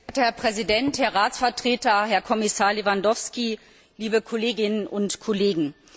Herr Präsident, Herr Ratsvertreter, Herr Kommissar Lewandowski, liebe Kolleginnen und Kollegen!